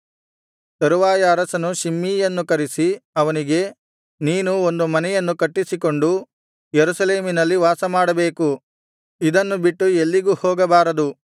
ತರುವಾಯ ಅರಸನು ಶಿಮ್ಮೀಯನ್ನು ಕರೆಸಿ ಅವನಿಗೆ ನೀನು ಒಂದು ಮನೆಯನ್ನು ಕಟ್ಟಿಸಿಕೊಂಡು ಯೆರೂಸಲೇಮಿನಲ್ಲಿ ವಾಸಮಾಡಬೇಕು ಇದನ್ನು ಬಿಟ್ಟು ಎಲ್ಲಿಗೂ ಹೋಗಬಾರದು